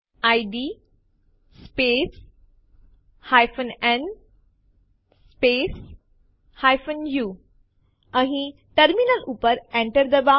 તે શોધવા માટે આપણે ટાઈપ કરીશું id space n space u અહીં ટર્મિનલ ઉપર અને Enter ડબાઓ